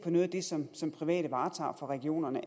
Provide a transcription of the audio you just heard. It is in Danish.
noget af det som som private varetager for regionerne